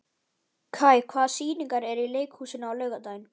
Kai, hvaða sýningar eru í leikhúsinu á laugardaginn?